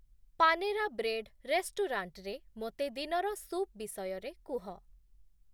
Panera bread ରେଷ୍ଟୁରାଣ୍ଟରେ ମୋତେ ଦିନର ସୁପ୍ ବିଷୟରେ କୁହ |